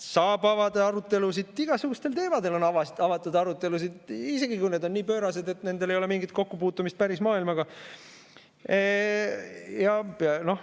Saab avada arutelusid, igasugustel teemadel on avatud arutelusid, isegi kui need on nii pöörased, et nendel ei ole mingit kokkupuutumist päris maailmaga.